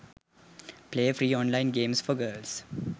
play free online games for girls